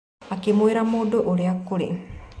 Akiĩmũrĩa mũndũ ũrĩa kĩũria